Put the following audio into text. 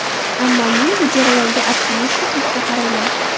Ammo men bu jarayonga optimistik ruhda qarayman.